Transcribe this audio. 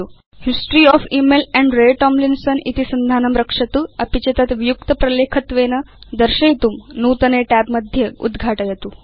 history of email amp Ray Tomlinson इति सन्धानं रक्षतु अपि च तत् वियुक्त प्रलेखत्वेन दर्शयितुं नूतने tab मध्ये उद्घाटयतु